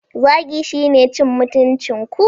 Zagi shine cin mutuncin ku.